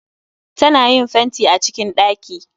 Ta na yin fenti a cikin ɗaki